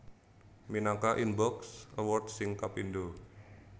Minangka Inbox awards sing kapindho